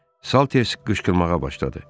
Salters qışqırmağa başladı.